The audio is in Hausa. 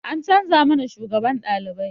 An canza mana shugaban ɗalibai